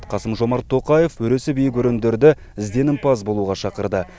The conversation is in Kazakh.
қасым жомарт тоқаев өресі биік өрендерді ізденімпаз болуға шақырды